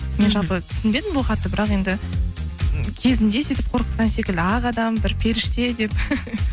жалпы түсінбедім бұл хатты бірақ енді кезінде сөйтіп қорқытқан секілді ақ адам бір періште деп